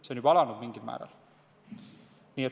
See on juba mingil määral alanud.